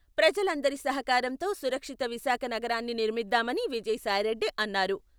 ప్రజల అందరి సహకారంతో సురక్షిత విశాఖ నగరాన్ని నిర్మిద్దామని విజయసాయిరెడ్డి అన్నారు.